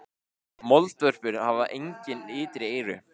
Moldvörpur hafa engin ytri eyru.